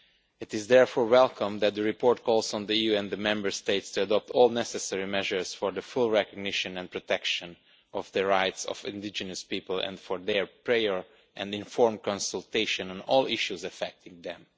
It is therefore welcome that the report calls on the EU and the Member States to adopt all necessary measures for the full recognition and protection of the rights of indigenous peoples and for their prior and informed consultation on all issues affecting them.